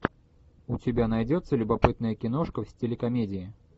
у тебя найдется любопытная киношка в стиле комедии